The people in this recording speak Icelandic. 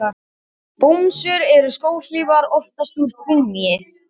Bomsur eru skóhlífar, oftast úr gúmmíi.